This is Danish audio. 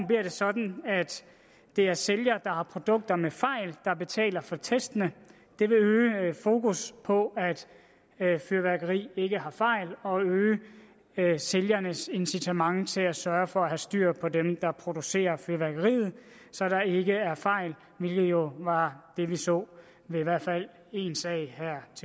bliver det sådan at det er sælger der har produkter med fejl der betaler for testene det vil øge fokus på at fyrværkeri ikke har fejl og øge sælgernes incitament til at sørge for at have styr på dem der producerer fyrværkeriet så der ikke er fejl hvilket jo var det vi så ved i hvert fald en sag